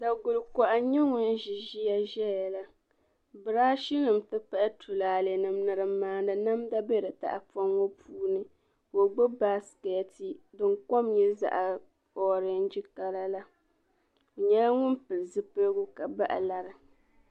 Daguli kokoha n nyɛ ŋun zi ziya zayala birashi nim ti pahi tulaale nima ni dim maani namda be di tahi pɔŋ puuni ka o gbubi basket, ka. okom nya zaɣi orenge kala la ɔ nyala ŋum pili zupiligu. ka bahi. lari.